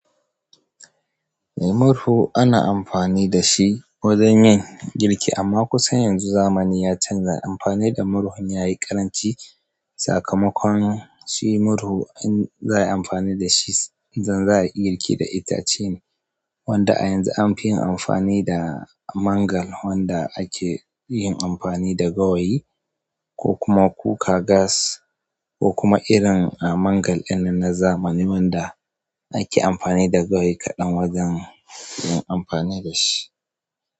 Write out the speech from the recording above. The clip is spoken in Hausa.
Murhu ana amfani da shi wajen yin girki, amma kusan yanzu zamani ya canza amfani da murhun yayi ƙaranci. Sakamakon shi murhu in za a yi amfani da shi, inda za a yi girki da itace ne, wanda a yanzu an fi yin amfani da mangal wanda ake yin amfani da gawayi ko kuma kuka gas ko kuma irin mangal ɗin na zamani wanda ake amfani da gawayi kaɗan wajen yin amfani da shi.